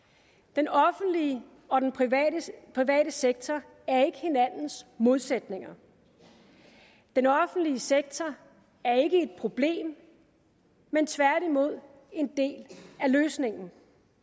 den offentlige og den private sektor sektor er ikke hinandens modsætninger den offentlige sektor er ikke et problem men tværtimod en del af løsningen